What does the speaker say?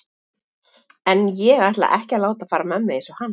En ég ætla ekki að láta fara með mig eins og hann.